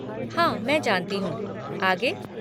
हाँ मैं जानती हूँ, आगे?